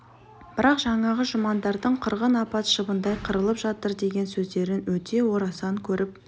бірақ жаңағы жұмандардың қырғын апат шыбындай қырылып жатыр деген сөздерін өте орасан көріп